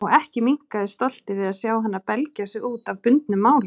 Og ekki minnkaði stoltið við að sjá hana belgja sig út af bundnu máli.